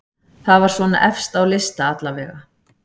Það var svona efst á lista allavega.